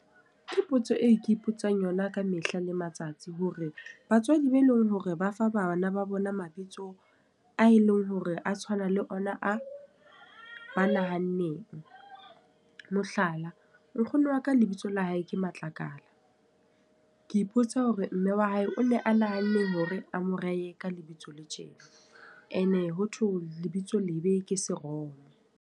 Ke potso e ke ipotsang yona ka mehla le matsatsi. Hore batswadi ba e leng hore ba fa bana ba bona mabitso a e leng hore a tshwana le ona a, ba nahanne eng. Mohlala, nkgono wa ka lebitso la hae ke Matlakala. Ke ipotsa hore mme wa hae o ne a nahanne eng hore a mo ree ka lebitso le tje. E ne ho thwe lebitso lebe ke seromo.